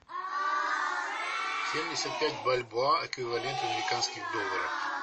семьдесят пять бальбоа эквивалент в американских долларах